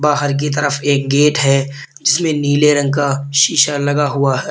बाहर की तरफ एक गेट है जिसमें नीले रंग का शीशा लगा हुआ है।